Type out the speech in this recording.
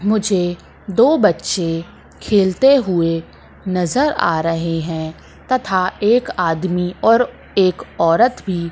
मुझे दो बच्चे खेलते हुए नजर आ रहे है तथा एक आदमी और एक औरत भी--